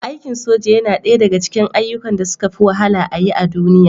soldier’s job is one of the toughest things to do in the world